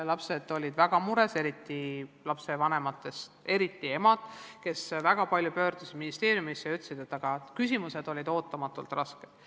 Lapsed olid väga mures, lapsevanematest eriti emad, kellest väga paljud pöördusid ministeeriumisse ja väitsid, et küsimused olid ootamatult rasked.